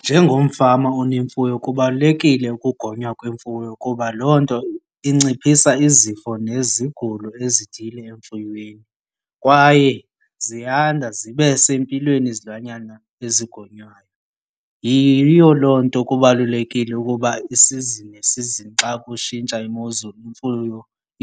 Njengomfama onemfuyo kubalulekile ukugonywa kwemfuyo kuba loo nto inciphisa izifo nezigulo ezithile emfuyweni. Kwaye ziyanda zibe sempilweni izilwanyana ezigonywayo. Yiyo loo nto kubalulekile ukuba isizini nesizini xa kutshintsha imozulu imfuyo